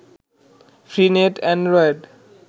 free net Android